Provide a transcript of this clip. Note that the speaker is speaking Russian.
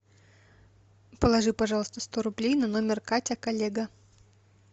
положи пожалуйста сто рублей на номер катя коллега